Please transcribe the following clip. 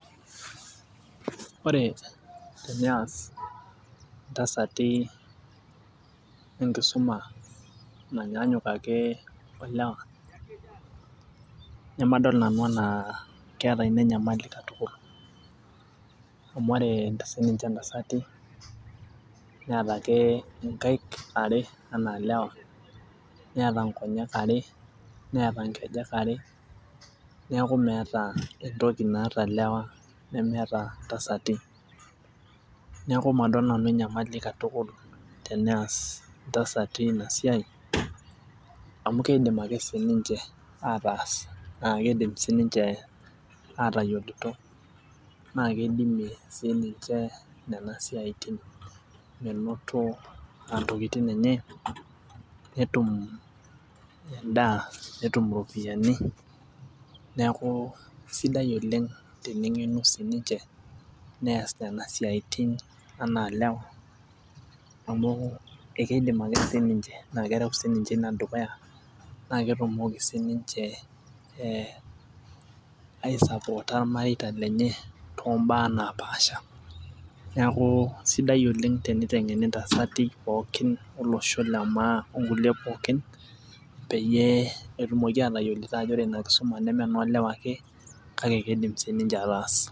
Ore teneyas intasati enkisuma nanyaanyuk ake olewa nemadol nanu enaa keeta ina enyamali katukul amu ore inta sininche intasati neeta ake inkaik are enaa ilewa neeta nkoyek are neeta nkejek are niaku meeta entoki naata ilewa nemeeta intasati niaku madol nanu enyamali katukul teneyas intasati ena siai amu keidim ake sininche ataasa naa kidim sininche atayioloito naa keidimie sininche nena siaitin menoto uh ntokitin enye netum endaa netum iropiyiani neaku sidai oleng teneng'enu sininche nees nena siaitin anaa ilewa amu ekeidim ake sininche naa kerew sininche ina dukuya naa ketumoki sininche eh ae sapota irmareita lenye tombaa napaasha neaku sidai oleng teniteng'eni intasati pookin olosho le maa onkulie pookin peyie etumoki atayioloito ajo ore ina kisuma neme enoo lewa ake kake keidim sininche ataas.